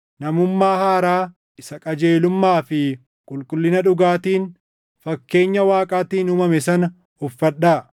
namummaa haaraa isa qajeelummaa fi qulqullina dhugaatiin fakkeenya Waaqaatiin uumame sana uffadhaa.